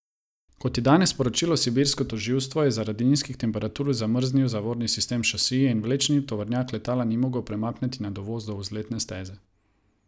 Kot je danes sporočilo sibirsko tožilstvo, je zaradi nizkih temperatur zamrznil zavorni sistem šasije in vlečni tovornjak letala ni mogel premakniti na dovoz do vzletne steze.